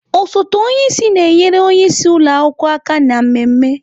Osote onye isi na-enyere onye isi ụlọ akwụkwọ aka na mmemme.